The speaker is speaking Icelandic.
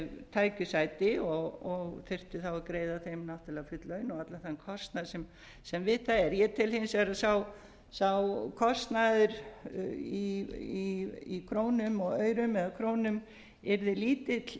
tækju sæti og þyrfti að greiða þeim náttúrlega full laun og allan þann kostnað sem við það er ég tel hins vegar að sá kostnaður í krónum og aurum eða krónum yrði lítill